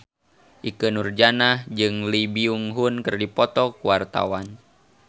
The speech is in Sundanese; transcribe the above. Ikke Nurjanah jeung Lee Byung Hun keur dipoto ku wartawan